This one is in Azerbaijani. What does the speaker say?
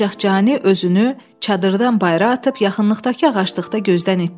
Ancaq Cani özünü çadırdan bayıra atıb yaxınlıqdakı ağaclıqda gözdən itdi.